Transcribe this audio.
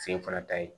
Sen fana ta ye